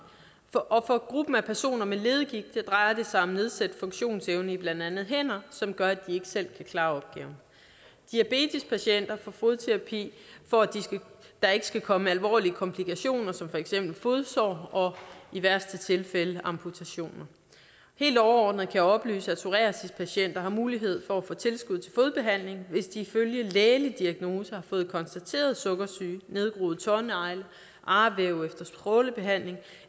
og for gruppen af personer med leddegigt drejer det sig om nedsat funktionsevne i blandt andet hænder som gør at de ikke selv kan klare opgaven diabetespatienter får fodterapi for at der ikke skal komme alvorlige komplikationer som for eksempel fodsår og i værste tilfælde amputationer helt overordnet kan jeg oplyse at psoriasispatienter har mulighed for at få tilskud til fodbehandling hvis de ifølge lægelig diagnose har fået konstateret sukkersyge nedgroede tånegle arvæv efter strålebehandling